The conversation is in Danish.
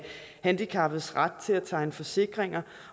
handicappedes ret til at tegne forsikringer